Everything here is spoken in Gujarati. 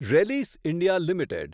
Rallis India limited